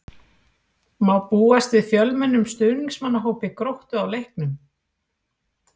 Má búast við fjölmennum stuðningsmannahópi Gróttu á leiknum?